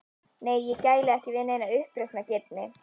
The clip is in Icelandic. Nei, ég gæli ekki við neina uppreisnargirni.